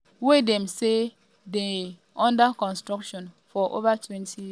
wey dem say dey under construction for ovatwentyyears